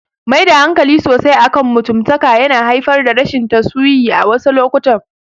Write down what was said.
Maida hankali sosai akan mutumtaka yana haifar da rashin tasusayi a wasu lokutan.